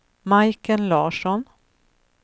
Majken Larsson